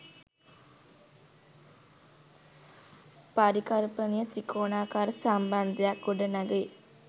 පරිකල්පනීය ත්‍රිකෝණාකාර සම්බන්ධයක් ගොඩනඟයි